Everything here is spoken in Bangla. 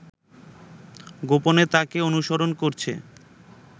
গোপনে তাকে অনুসরণ করছে